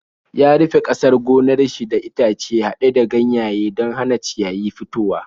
Ya rufe ƙasar gonar shi da itace haɗe da ganyaye don ya hana ciyayi fitowa.